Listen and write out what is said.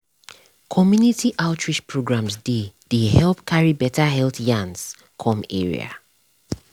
community outreach programs dey dey help carry beta health yarns come area.